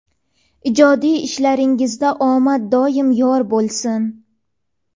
Ijodiy ishlaringizda omad doim yor bo‘lsin.